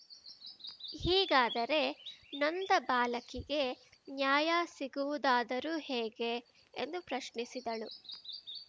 ಹೀಗಾದರೆ ನೊಂದ ಬಾಲಕಿಗೆ ನ್ಯಾಯ ಸಿಗುವುದಾದರೂ ಹೇಗೆ ಎಂದು ಪ್ರಶ್ನಿಸಿದಳು